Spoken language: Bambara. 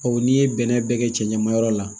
n'i ye bɛnɛ bɛɛ kɛ cɛn ma yɔrɔ la